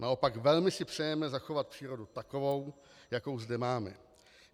Naopak, velmi si přejeme zachovat přírodu takovou, jako zde máme.